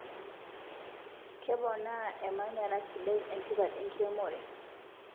Keponaa emanyara sidai entipat enkiremore